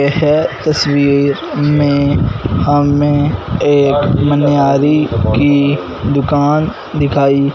यह तस्वीर में हमें एक मनिहारी की दुकान दिखाई--